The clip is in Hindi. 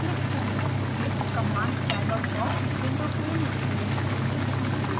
एक command डायलॉग बॉक्स विंडो के निचले हिस्से में दिखाई देता है